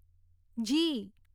જી